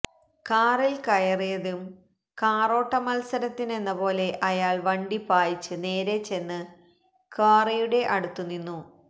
കാറിൽ കയറിയതും കാറോട്ട മത്സരത്തിനെന്നപോലെ അയാൾ വണ്ടി പായിച്ച് നേരെ ചെന്ന് ക്വാറിയുടെ അടുത്ത് നിന്നു